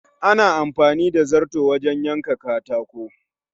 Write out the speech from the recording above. Ana amfani da zarto wajen yanka katako